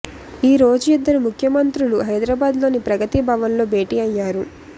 ఈరోజు ఇద్దరు ముఖ్యమంత్రులూ హైదరాబాద్ లోని ప్రగతి భవన్ లో భేటీ అయ్యారు